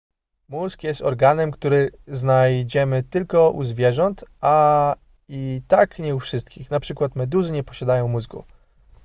mózg jest organem który znajdziemy tylko u zwierząt a i tak nie u wszystkich np meduzy nie posiadają mózgu